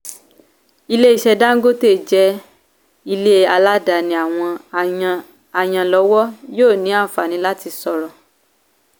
[cs[ ilé iṣẹ́ dangote jẹ́ ilé aládàáni àwọn àyàn àyànlọ́wọ́ yóò ní àǹfààní láti sọ̀rọ̀.